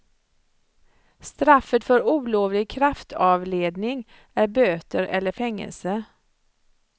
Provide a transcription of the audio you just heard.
Straffet för olovlig kraftavledning är böter eller fängelse.